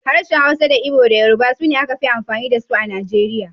Harshen Hausa da Igbo da Yoruba su ne aka fi amfani da su A Najeriya.